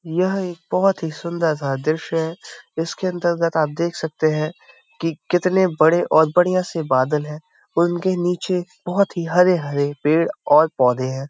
यह एक बहोत ही सुंदर सा दृश्य है। इसके अंतर्गत आप देख सकते हैं कि कितने बड़े और बढ़िया से बादल है। उनके नीचे बहोत ही हरे-हरे पेड़ और पौधे है।